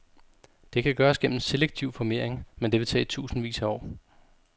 Det kan gøres gennem selektiv formering, men det vil tage tusindvis af år.